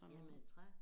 Jamen af træ